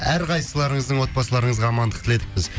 әрқайсыларыңыздың отбасыларыңызға амандық тіледік біз